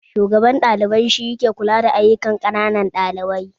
Shugaban ɗalibai ke kula da ayukan ƙananan ɗalibai